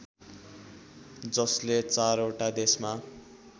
जसले चारओटा देशमा